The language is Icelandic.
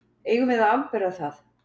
Eigum við að afbera það.